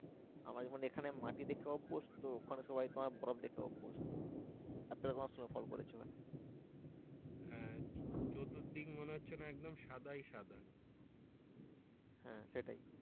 আমরা যেমন এখানে মাটি দেখতে অভ্যস্ত ওখানে সবাই বরফ দেখে অভ্যস্ত।